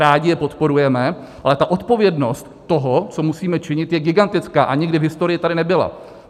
Rádi je podporujeme, ale ta odpovědnost toho, co musíme činit, je gigantická a nikdy v historii tady nebyla.